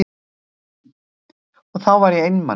Og þá var ég einmana.